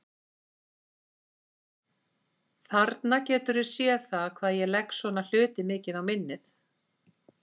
Þarna geturðu séð hvað ég legg svona hluti mikið á minnið!